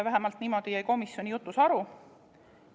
Vähemalt niimoodi jäi komisjonis jutust.